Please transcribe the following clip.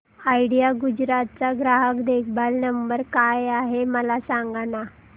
idea Gujarat चा ग्राहक देखभाल नंबर काय आहे मला सांगाना